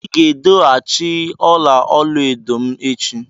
Ị ga-edo achi ọla olu edo m echi.